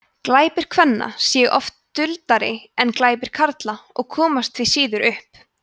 glæpir kvenna séu oft duldari en glæpir karla og komast því síður upp